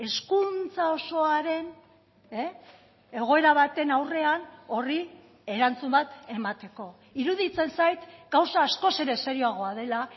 hezkuntza osoaren egoera baten aurrean horri erantzun bat emateko iruditzen zait gauza askoz ere serioagoa dela